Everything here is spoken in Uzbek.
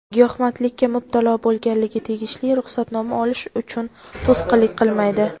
giyohvandlikka mubtalo bo‘lganligi tegishli ruxsatnoma olish uchun to‘sqinlik qilmaydi.